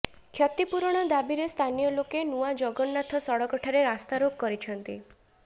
କ୍ଷତିପୂରଣ ଦାବିରେ ସ୍ଥାନୀୟଲୋକେ ନୂଆ ଜଗନ୍ନାଥ ସଡକ ଠାରେ ରାସ୍ତାରୋକ କରିଛନ୍ତି